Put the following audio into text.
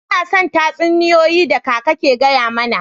Ina son tatsuniyoyi da kakan ke gaya mana.